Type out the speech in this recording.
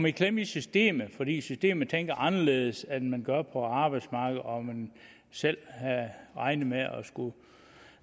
i klemme i systemet fordi systemet tænker anderledes end man gør på arbejdsmarkedet og man selv regner med